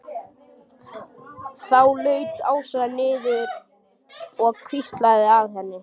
Þá laut Ásta niður og hvíslaði að henni.